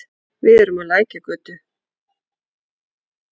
Við erum á Lækjargötu.